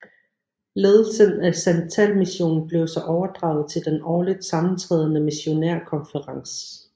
Ledelsen af santalmissionen blev så overdraget til den årligt sammentrædende missionærkonferens